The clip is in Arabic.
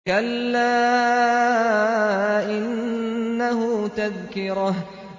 كَلَّا إِنَّهُ تَذْكِرَةٌ